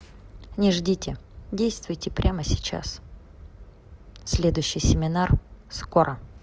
не ждите действуйте прямо сейчас следующий семинар скоро